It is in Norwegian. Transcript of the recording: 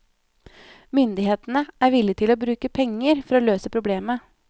Myndighetene er villig til å bruke penger for å løse problemet.